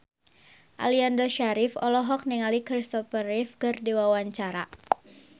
Aliando Syarif olohok ningali Christopher Reeve keur diwawancara